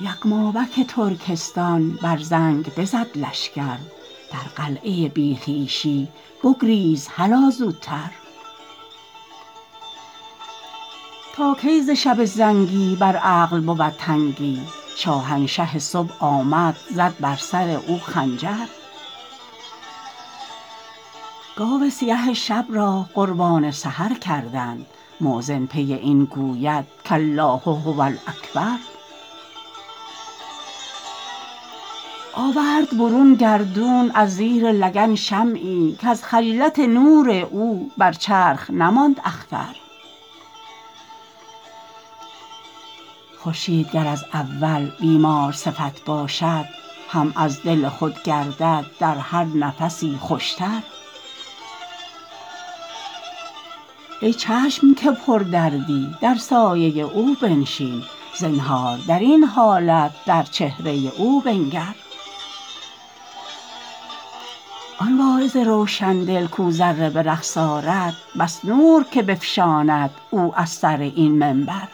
یغمابک ترکستان بر زنگ بزد لشکر در قلعه بی خویشی بگریز هلا زوتر تا کی ز شب زنگی بر عقل بود تنگی شاهنشه صبح آمد زد بر سر او خنجر گاو سیه شب را قربان سحر کردند مؤذن پی این گوید کالله هو الاکبر آورد برون گردون از زیر لگن شمعی کز خجلت نور او بر چرخ نماند اختر خورشید گر از اول بیمارصفت باشد هم از دل خود گردد در هر نفسی خوشتر ای چشم که پردردی در سایه او بنشین زنهار در این حالت در چهره او بنگر آن واعظ روشن دل کو ذره به رقص آرد بس نور که بفشاند او از سر این منبر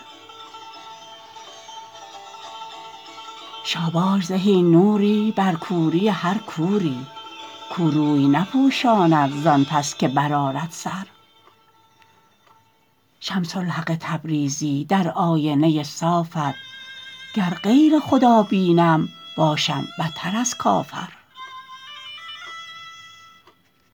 شاباش زهی نوری بر کوری هر کوری زان پس که بر آرد سر کور وی نپوشاند شمس الحق تبریزی در آینه صافت گر غیر خدا بینم باشم بتر از کافر